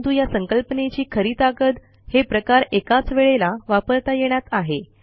परंतु या संकल्पनेची खरी ताकद हे प्रकार एकाच वेळेला वापरता येण्यात आहे